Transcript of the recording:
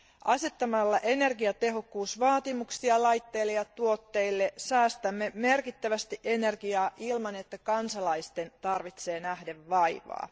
Asettamalla energiatehokkuusvaatimuksia laitteille ja tuotteille säästämme merkittävästi energiaa ilman, että kansalaisten tarvitsee nähdä vaivaa.